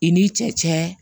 I n'i cɛ